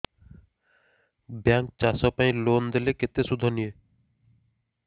bank ଚାଷ ପାଇଁ loan ଦେଲେ କେତେ ସୁଧ ନିଏ